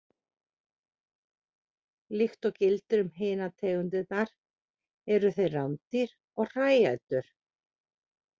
Líkt og gildir um hinar tegundirnar eru þeir rándýr og hræætur.